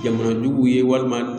Jamana juguw ye walima